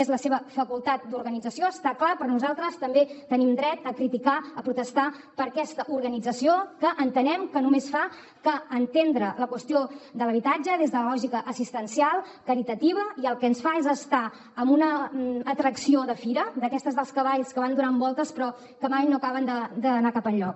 és la seva facultat d’organització està clar però nosaltres també tenim dret a criticar a protestar per aquesta organització que entenem que només fa que entendre la qüestió de l’habitatge des de la lògica assistencial caritativa i el que ens fa és estar en una atracció de fira d’aquestes dels cavalls que van donant voltes però que mai no acaben d’anar cap enlloc